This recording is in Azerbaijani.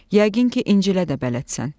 Yəqin ki, İncilə də bələdsən.